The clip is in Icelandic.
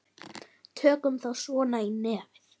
Tökum þá svo í nefið!